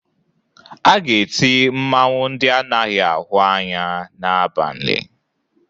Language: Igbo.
A ga-eti mmanwụ ndị anaghị ahụ anya n'abalị